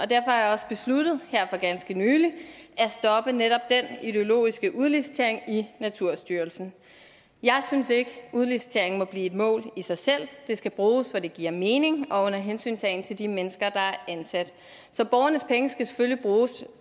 derfor har jeg også besluttet her for ganske nylig at stoppe netop den ideologiske udlicitering i naturstyrelsen jeg synes ikke at udlicitering må blive et mål i sig selv det skal bruges hvor det giver mening og under hensyntagen til de mennesker der er ansat så borgernes penge skal selvfølgelig bruges